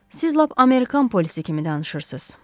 Siz lap amerikan polisi kimi danışırsınız.